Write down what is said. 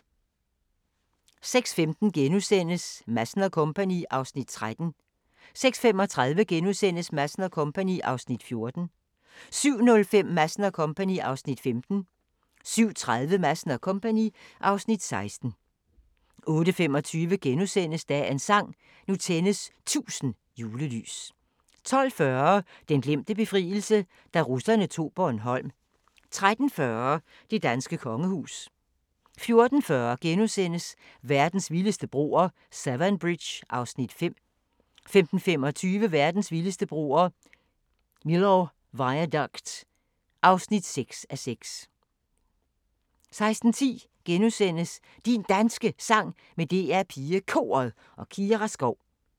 06:15: Madsen & Co. (Afs. 13)* 06:35: Madsen & Co. (Afs. 14)* 07:05: Madsen & Co. (Afs. 15) 07:30: Madsen & Co. (Afs. 16) 08:25: Dagens sang: Nu tændes 1000 julelys * 12:40: Den glemte befrielse – da russerne tog Bornholm 13:40: Det danske kongehus 14:40: Verdens vildeste broer – Severn Bridge (5:6)* 15:25: Verdens vildeste broer – Millau Viaduct (6:6) 16:10: Din Danske Sang med DR PigeKoret og Kira Skov *